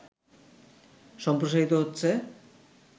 সম্প্রসারিত হচ্ছে